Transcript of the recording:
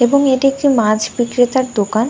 এবং এটি একটি মাছ বিক্রেতার দোকান।